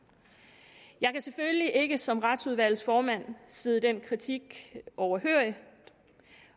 jeg kan selvfølgelig ikke som retsudvalgsformand sidde den kritik overhørig